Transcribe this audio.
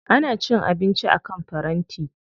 Ana cin abinci akan faranti.